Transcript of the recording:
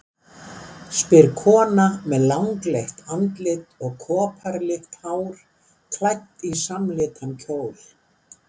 spyr kona með langleitt andlit og koparlitt hár, klædd í samlitan kjól.